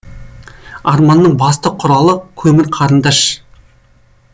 арманның басты құралы көмір қарындаш